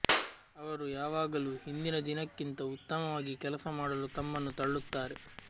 ಅವರು ಯಾವಾಗಲೂ ಹಿಂದಿನ ದಿನಕ್ಕಿಂತ ಉತ್ತಮವಾಗಿ ಕೆಲಸ ಮಾಡಲು ತಮ್ಮನ್ನು ತಳ್ಳುತ್ತಾರೆ